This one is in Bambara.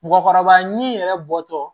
Mɔgɔkɔrɔba ɲinini yɛrɛ bɔtɔ